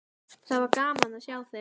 Það var gaman að sjá þig.